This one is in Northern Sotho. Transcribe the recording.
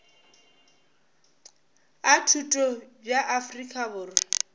a thuto bja afrika borwa